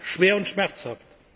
Er bleibt schwer und schmerzhaft.